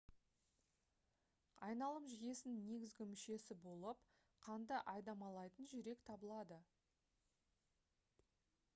айналым жүйесінің негізгі мүшесі болып қанды айдамалайтын жүрек табылады